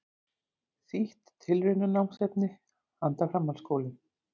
Þýtt tilraunanámsefni handa framhaldsskólum.